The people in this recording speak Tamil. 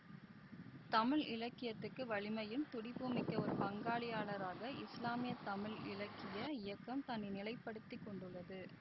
தமிழ் இலக்கியத்துக்கு வலிமையும் துடிப்பும் மிக்க ஒரு பங்காளியாளராக இஸ்லாமிய தமிழ் இலக்கிய இயக்கம் தன்னை நிலைப்படுத்திக் கொண்டுள்ளது